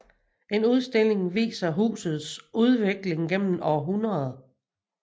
En udstilling viser husets udvikling gennem århundrederne